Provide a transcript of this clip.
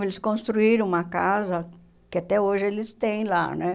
Eles construíram uma casa que até hoje eles têm lá, né?